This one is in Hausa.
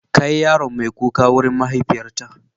Kai yaron mai kuka wurin mahaifiyarta.